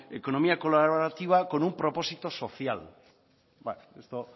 economía colaborativa con un propósito social bueno esto